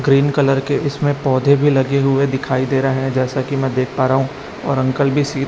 green colour के इसमें पौधे भी लगे हुए दिखाई दे रहे है जैसे कि मैं देख पा रहा हूं और अंकल भी सी--